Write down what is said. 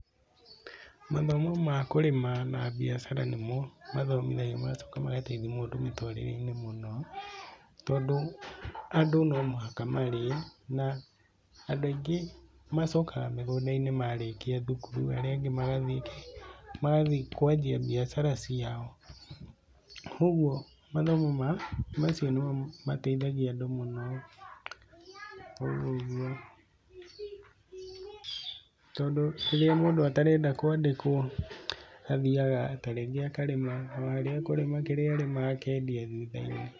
Mathomo ma kũrĩma na mbiacara nĩmo mathomithagio magacoka magateithia mũndũ mũtũrĩre-ini mũno. Tondũ andũ no mũhaka marĩe na andũ aingĩ macokaga mĩgunda-inĩ marĩkia thukuru, arĩa angĩ magathiĩ kwanjia mbiacara ciao. Koguo mathomo ma, macio nĩmo mateithagia andũ mũno, ũguo ũguo. Tondũ rĩrĩa mũndũ atarenda kwandĩkwo, athiaga tarĩngĩ akarĩma o harĩa ekũrĩma, kĩrĩa arĩma akendia thutha-inĩ.